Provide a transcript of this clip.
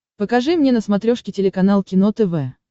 покажи мне на смотрешке телеканал кино тв